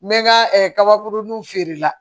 N bɛ n ka kabakuruninw feere la